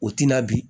O tina bi